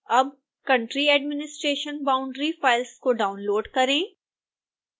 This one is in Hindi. अब country administration boundary फाइल्स को डाउनलोड़ करें